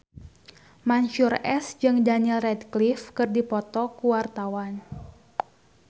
Mansyur S jeung Daniel Radcliffe keur dipoto ku wartawan